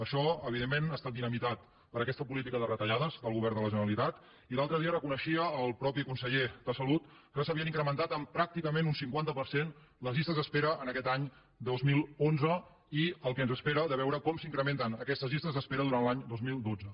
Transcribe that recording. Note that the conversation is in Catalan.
això evidentment ha estat dinamitat per aquesta política de retallades del govern de la ge·neralitat i l’altre dia reconeixia el mateix conseller de salut que s’havien incrementat en pràcticament un cinquanta per cent les llistes d’espera en aquest any dos mil onze i el que ens espera de veure com s’incrementen aquestes llistes d’espera durant l’any dos mil dotze